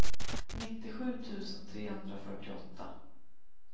nittiosju tusen trehundrafyrtioåtta